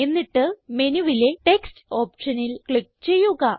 എന്നിട്ട് മെനുവിലെ ടെക്സ്റ്റ് ഓപ്ഷനിൽ ക്ലിക്ക് ചെയ്യുക